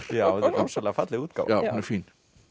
ofsalega falleg útgáfa já hún er fín